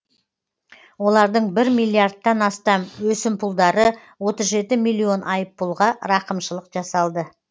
олардың бір миллиардтан астам өсімпұлдары отыз жеті миллион айыппұлға рақымшылық жасалды